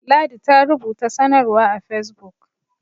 ladi ta rubuta sanarwa a fesbuk